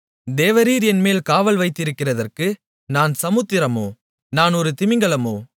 தேவரீர் என்மேல் காவல் வைக்கிறதற்கு நான் சமுத்திரமோ நான் ஒரு திமிங்கிலமோ